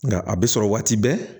Nka a bɛ sɔrɔ waati bɛɛ